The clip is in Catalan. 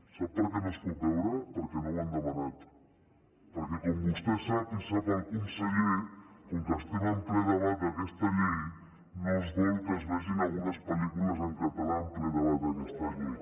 sap per què no es pot veure perquè no ho han demanat perquè com vostè sap i sap el conseller com que estem en ple debat d’aquesta llei no es vol que es vegin algunes pel·lícules en català en ple debat d’aquesta llei